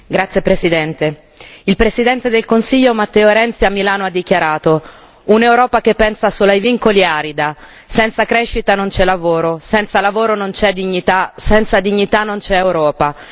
Signora Presidente, onorevoli colleghi, il Presidente del Consiglio Matteo Renzi a Milano ha dichiarato un'Europa che pensa solo ai vincoli è arida, senza crescita non c'è lavoro, senza lavoro non c'è dignità, senza dignità non c'è Europa.